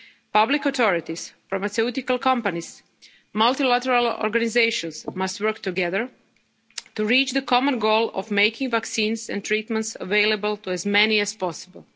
pool their resources. Public authorities, pharmaceutical companies and multilateral organisations must work together to reach the common goal of making vaccines and treatments available to